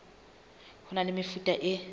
ho na le mefuta e